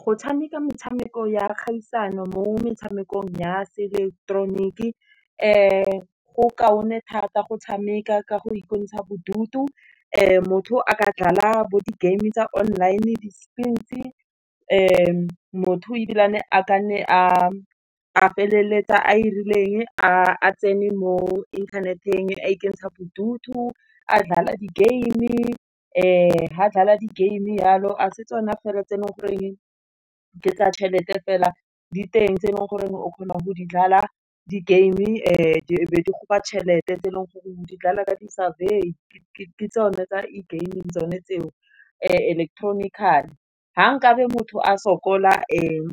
Go tshameka metshameko ya kgaisano mo metshamekong ya se ileketeroniki, go kaone thata go tshameka ka go ikentsha bodutu motho a ka dlala bo di-game-e tsa online-e, di spins-e, motho ebilane a ka nne a feleletsa a e rileng, a tsene mo internet-eng, a ikentsha bodutu, a dlala di-game-e, fa dlala di-game-e yalo, ga se tsona fela tse e leng ke tsa tšhelete fela diteng tse e leng gore o kgonang go di dlala di-game-e, e be di go fa tšhelete tse e leng gore go dlala ka di-savoir ke tsone tsa game-e tsone tseo, electronically. Fa nkabe motho a sokola